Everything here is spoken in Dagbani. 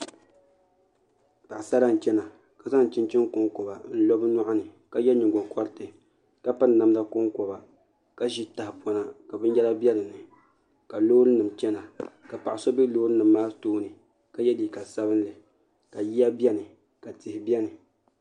Paɣasara n chɛna ka zaŋ chinchin konkoba n lo bi nyoɣani ka yɛ nyingokoriti ka piri namda konkoba ka ʒi tahapona ka binyɛra bɛ dinni ka loori nim chɛna ka paɣa so bɛ loori nim maa tooni ka yɛ liiga sabinli ka yiya biɛni ka tihi gba biɛni